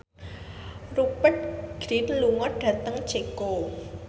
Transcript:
Rupert Grin lunga dhateng Ceko